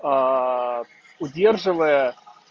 удерживая